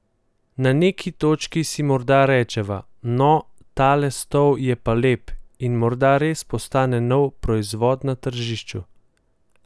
Na neki točki si morda rečeva: 'No, tale stol je pa lep', in morda res postane nov proizvod za tržišču.